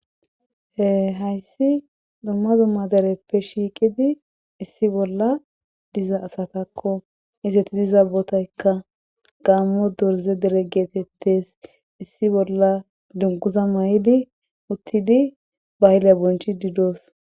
e hayssi dumma dumma dereppe shiiqidi issi bolla diza asatakko izeti diza botaykka gaammo dorze dere geetettes issi bolla dunkuza mayidi uttidi bayila bonchididoos